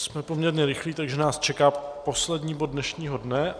Jsme poměrně rychlí, takže nás čeká poslední bod dnešního dne.